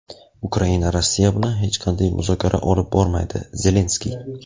Ukraina Rossiya bilan hech qanday muzokara olib bormaydi - Zelenskiy.